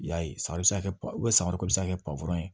I y'a ye san bɛ se ka kɛ ko bɛ se ka kɛ ye